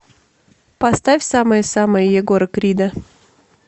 поставь самая самая егора крида